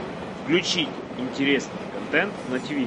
включить интересный контент на тв